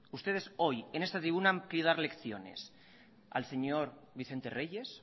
ustedes hoy en esta tribuna quieren dar lecciones al señor vicente reyes